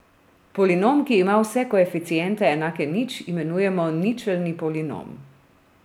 Polinom, ki ima vse koeficiente enake nič, imenujemo ničelni polinom.